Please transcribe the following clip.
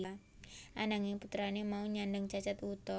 Ananging putrane mau nyandhang cacat wuta